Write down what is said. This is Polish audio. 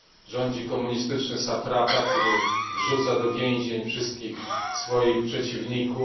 Rządzi komunistyczny satrapa, który wrzuca do więzień wszystkich swoich przeciwników.